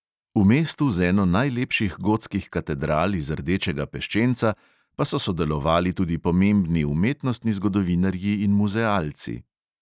V mestu z eno najlepših gotskih katedral iz rdečega peščenca pa so delovali tudi pomembni umetnostni zgodovinarji in muzealci.